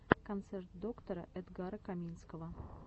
концерт доктора эдгара каминского